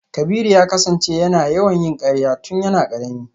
Kabiru ya kasance yana yawan yin karya tun yana karami.